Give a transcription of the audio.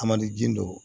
A man di dɔw